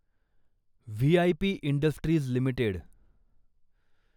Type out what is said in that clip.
V I P industries limited